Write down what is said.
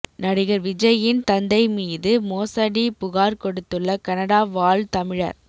நடிகர் விஜயின் தந்தை மீது மோசடி புகார் கொடுத்துள்ள கனடா வாழ் தமிழர்